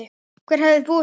Hver hefði búist við því?